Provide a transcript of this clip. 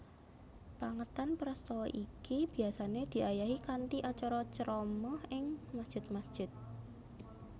Pèngetan prastawa iki biasané diayahi kanthi acara ceramah ing masjid masjid